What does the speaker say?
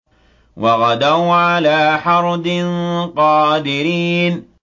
وَغَدَوْا عَلَىٰ حَرْدٍ قَادِرِينَ